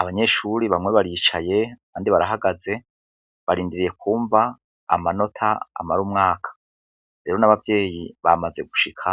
Abanyeshure bamwe baricaye, abandi barahagaze barindiriye kwumva amanota amara umwanka. Rero n'abavyeyi bamaze gushika,